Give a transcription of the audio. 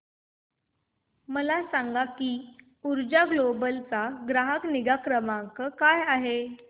मला सांग की ऊर्जा ग्लोबल चा ग्राहक निगा क्रमांक काय आहे